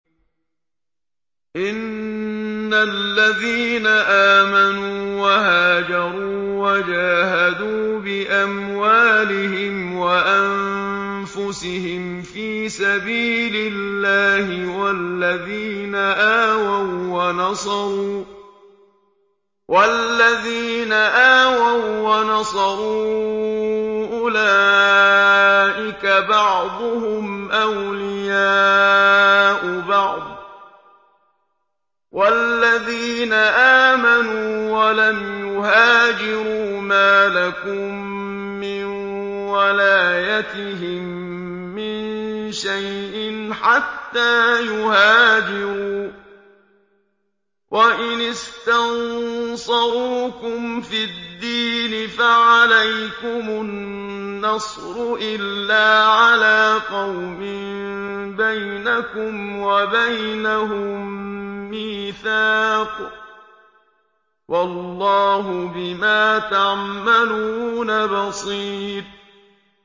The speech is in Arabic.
إِنَّ الَّذِينَ آمَنُوا وَهَاجَرُوا وَجَاهَدُوا بِأَمْوَالِهِمْ وَأَنفُسِهِمْ فِي سَبِيلِ اللَّهِ وَالَّذِينَ آوَوا وَّنَصَرُوا أُولَٰئِكَ بَعْضُهُمْ أَوْلِيَاءُ بَعْضٍ ۚ وَالَّذِينَ آمَنُوا وَلَمْ يُهَاجِرُوا مَا لَكُم مِّن وَلَايَتِهِم مِّن شَيْءٍ حَتَّىٰ يُهَاجِرُوا ۚ وَإِنِ اسْتَنصَرُوكُمْ فِي الدِّينِ فَعَلَيْكُمُ النَّصْرُ إِلَّا عَلَىٰ قَوْمٍ بَيْنَكُمْ وَبَيْنَهُم مِّيثَاقٌ ۗ وَاللَّهُ بِمَا تَعْمَلُونَ بَصِيرٌ